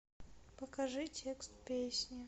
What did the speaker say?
покажи текст песни